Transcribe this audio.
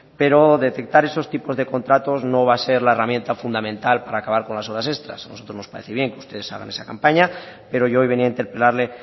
pero detectar esos tipos de contratos no va a ser la herramienta fundamental para acabar con las horas extras a nosotros nos parece bien que ustedes hagan esa campaña pero yo hoy venía a interpelarle